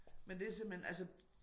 Men det simpelthen altså